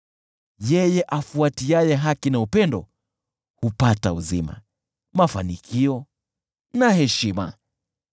Yeye afuatiaye haki na upendo hupata uzima, mafanikio na heshima.